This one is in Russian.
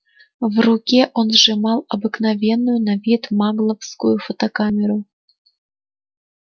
в руке он сжимал обыкновенную на вид магловскую фотокамеру